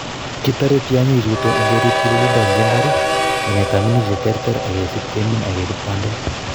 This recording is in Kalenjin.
Kitore tiongichuton ingerib tilindo en mbar, minetab minutik cheterter ak kesib kemin ak kebut bandek.